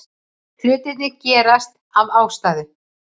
Hlutirnir gerast af ástæðu.